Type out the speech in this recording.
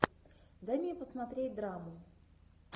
дай мне посмотреть драму